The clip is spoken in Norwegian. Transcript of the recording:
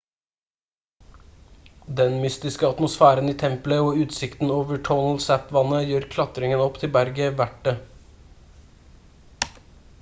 den mystiske atmosfæren i tempelet og utsikten over tonle sap-vannet gjør klatringen opp til berget verdt det